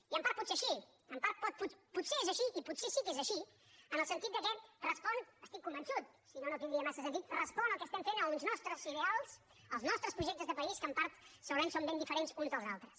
i en part potser és així i potser sí que és així en el sentit que respon n’estic convençut si no no tindria massa sentit al que estem fent als nostres ideals als nostres projectes de país que en part segurament són ben diferents els uns dels altres